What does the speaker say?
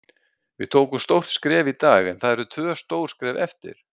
Við tókum stórt skref í dag en það eru tvö stór skref eftir.